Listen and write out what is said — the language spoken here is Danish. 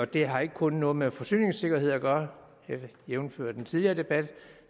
det har ikke kun noget med forsyningssikkerhed at gøre jævnfør den tidligere debat